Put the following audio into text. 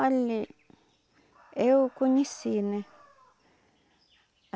Olha, eu conheci, né?